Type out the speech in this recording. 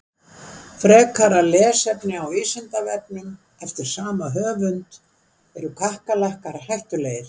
Frekara lesefni á Vísindavefnum eftir sama höfund: Eru kakkalakkar hættulegir?